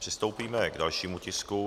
Přistoupíme k dalšímu tisku.